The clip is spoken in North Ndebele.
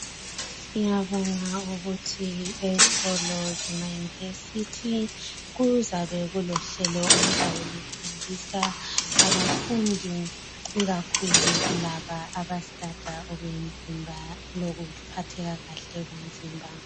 siyabonga ukuthi esikolo sema university kuzabe kulohlelo oluzabe lufundisa abafundi ikakhulu kulaba aba studer okwemzimba lokuphatheka kahle kwemzimba